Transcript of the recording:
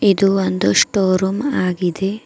ಇದು ಒಂದು store room ಆಗಿದೆ.